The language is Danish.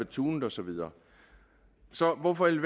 tunet og så videre så hvorfor i